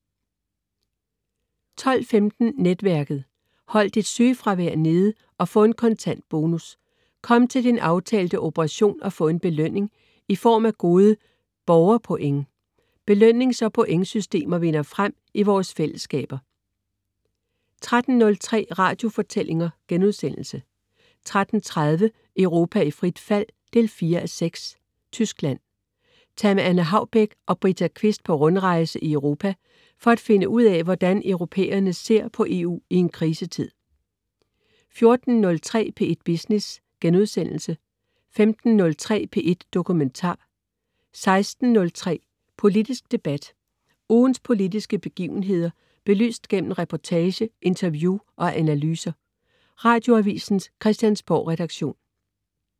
12.15 Netværket. Hold dit sygefravær nede og få en kontant bonus. Kom til din aftalte operation og få en belønning i form af gode borgerpoint. Belønnings- og pointsystemer vinder frem i vores fællesskaber 13.03 Radiofortællinger* 13.30 Europa i frit fald 4:6. Tyskland. Tag med Anne Haubek og Brita Kvist på rundrejse i Europa for at finde ud af, hvordan europæerne ser på EU i en krisetid 14.03 P1 Business* 15.03 P1 Dokumentar* 16.03 Politisk debat. Ugens politiske begivenheder belyst gennem reportage, interview og analyser. Radioavisens Christiansborgredaktion